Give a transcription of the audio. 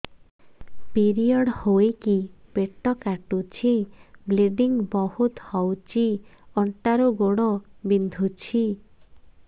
period ହୋଇକି ପେଟ କାଟୁଛି ବ୍ଲିଡ଼ିଙ୍ଗ ବହୁତ ହଉଚି ଅଣ୍ଟା ରୁ ଗୋଡ ବିନ୍ଧୁଛି